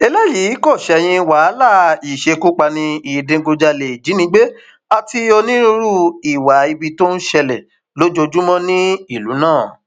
eléyìí kò ṣẹyìn wàhálà ìṣekúpani ìdígunjalè ìjínigbé àti onírúurú ìwà ibi tó ń ṣẹlẹ lójoojúmọ nínú ìlú náà